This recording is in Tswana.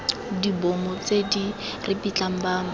dibomo tse di ripitlang batho